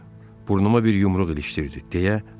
Burnuma bir yumruq ilişdirdi, deyə Harvi mırıldandı.